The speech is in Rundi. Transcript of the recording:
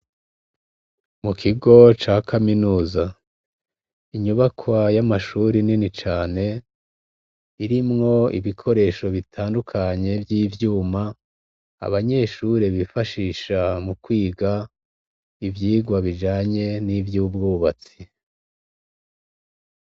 Mu kigo ca kaminuza, inyubakwa y'amashuri nini cane irimwo ibikoresho bitandukanye vy'ivyuma, abanyeshure bifashisha mukwiga ivyigwa bijanye n'ivyubwubatsi.